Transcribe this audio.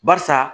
Barisa